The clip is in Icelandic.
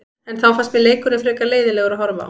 En þá fannst mér leikurinn frekar leiðinlegur að horfa á.